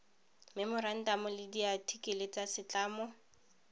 memorantamo le diathikele tsa setlamo